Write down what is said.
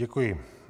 Děkuji.